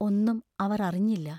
ഒന്നും അവർ അറിഞ്ഞില്ല.